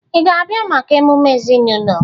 Ị ga-abịa maka emume ezinụlọ?